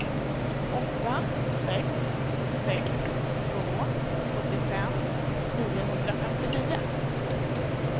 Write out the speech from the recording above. åtta sex sex två sjuttiofem niohundrafemtionio